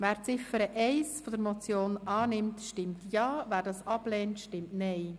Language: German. Wer die Ziffer 1 der Motion annimmt, stimmt Ja, wer dies ablehnt, stimmt Nein.